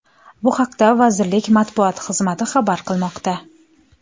Bu haqda vazirlik matbuot xizmati xabar qilmoqda .